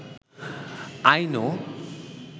I know